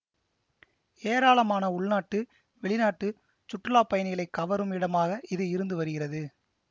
ஏராளமான உள்நாட்டு வெளிநாட்டுச் சுற்றுலா பயணிகளை கவரும் இடமாக இது இருந்து வருகிறது